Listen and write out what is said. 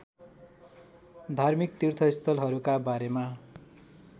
धार्मिक तीर्थस्थलहरूका बारेमा